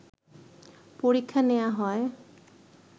পরীক্ষা নেওয়া হয়